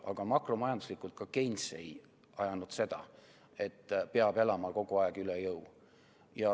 Aga makromajanduslikult ka Keynes ei ajanud seda, et peab elama kogu aeg üle jõu.